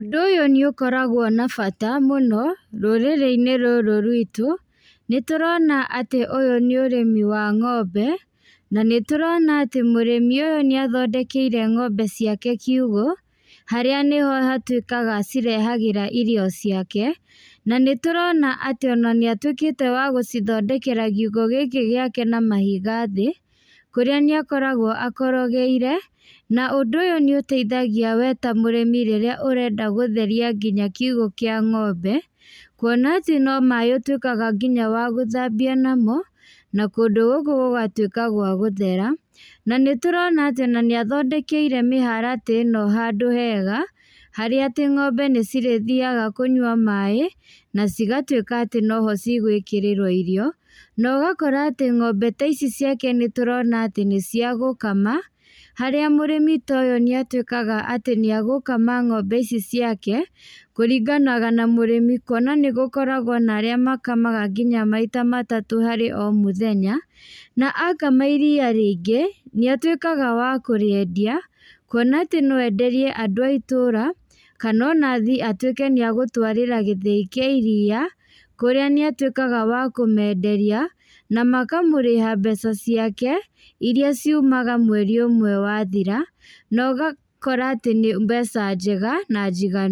Ũndũ ũyũ nĩ ũkoragwo na bata mũno, rũrĩrĩ-inĩ rũrũ rwĩtũ, nĩ tũrona atĩ ũyũ nĩ ũrĩmi wa ng'ombe, na nĩ tũrona atĩ mũrĩmi ũyũ nĩ athondekeire ng'ombe ciake kiugo, harĩa nĩho hatuĩkaga acirehagĩra irio ciake, na nĩ tũrona atĩ ona nĩ atuĩkĩte wa gũcithondekera kiugo gĩkĩ gĩake na mahiga thĩ, kũrĩa nĩ akoragwo akorogeire, na ũndũ ũyũ nĩ ũteithagia we ta mũrĩmi rĩrĩa ũrenda gũtheria nginya kiugo kĩa ng'ombe, kuona atĩ no maĩ ũtũĩkaga nginya wa gũthambia namo, na kũndũ gũkũ gũgatuĩka gwa gũthera, na nĩ turona atĩ ona nĩ athondekeire mĩharatĩ ĩno handũ hega, harĩa atĩ ng'ombe nĩ cirĩthiaga kũnywa maĩ, na cigatuĩka atĩ noho cigũĩkĩrĩrwo irio, na ũgakora atĩ ng'ombe taici ciake nĩ turona atĩ nĩ cia gũkama, harĩa mũrĩmi ta ũyũ nĩ atuĩkaga atĩ nĩ egũkama ngómbe ici ciake, kũringanaga na mũrĩmi, kuona nĩ gũkoragwo na arĩa makamaga nginya maita matatũ harĩ o mũthenya, na akama iria rĩingĩ nĩ atuĩkaga wa kũrĩendia, kuona atĩ no enderie andũ a itũra, kana ona athiĩ atuĩke nĩ egũtwarĩra gĩthĩi kia iria, kũrĩa nĩ atuĩkaga wa kũmenderia , na makamũrĩha mbeca ciake, iria ciumaga mweri ũmwe wathira, na ũgakora atĩ nĩ mbeca njega na njiganu.